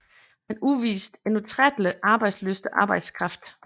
Han udviste en utrættelig arbejdslyst og arbejdskraft